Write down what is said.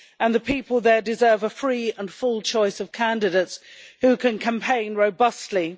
The people there deserve a free and full choice of candidates who can campaign robustly.